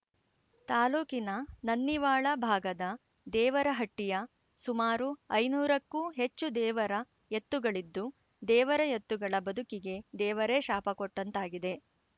ತಾಲೂಕಿನ ನನ್ನಿವಾಳ ಭಾಗದ ದೇವರಹಟ್ಟಿಯ ಸುಮಾರು ಐದುನೂರಕ್ಕೂ ಹೆಚ್ಚು ದೇವರ ಎತ್ತುಗಳಿದ್ದು ದೇವರ ಎತ್ತುಗಳ ಬದುಕಿಗೆ ದೇವರೇ ಶಾಪಕೊಟ್ಟಂತಾಗಿದೆ